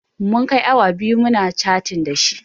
Mun kai awa biyu muna catin dashi